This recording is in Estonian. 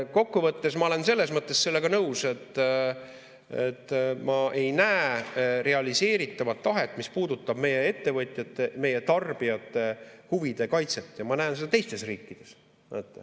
Kokkuvõttes ma olen selles mõttes sellega nõus, et ma ei näe realiseeritavat tahet, mis puudutab meie ettevõtjate, meie tarbijate huvide kaitset, ja ma näen seda teistes riikides.